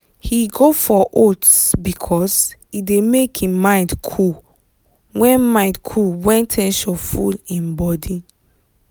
he go for oats because e dey make him mind cool when mind cool when ten sion full him body.